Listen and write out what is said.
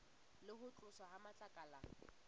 le ho tloswa ha matlakala